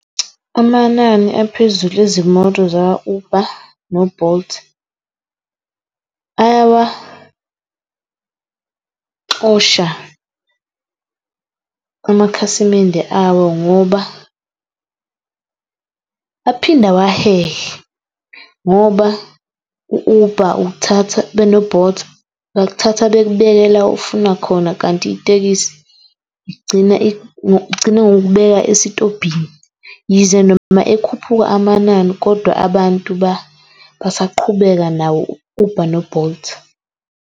Amanani aphezulu ezimoto zakwa-Uber no-Bolt. Ayawaxosha amakhasimende awo ngoba aphinde awahehe ngoba u-Uber ukuthatha beno-Bolt bakuthatha bekubeke la ofuna khona, kanti itekisi igcina ngokukubeka esitobhini. Yize noma ekhuphuka amanani kodwa abantu basaqhubeka nawo u-Uber no-Bolt.